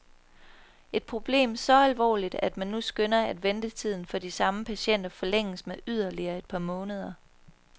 Et problem så alvorligt, at man nu skønner, at ventetiden for de samme patienter forlænges med yderligere et par måneder.